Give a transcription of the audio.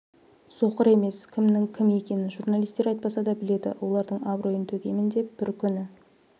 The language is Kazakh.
соқыр емес кімнің кім екенін журналистер айтпаса да біледі олардың абыройын төгемін деп бір күні